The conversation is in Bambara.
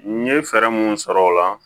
N ye fɛɛrɛ minnu sɔrɔ o la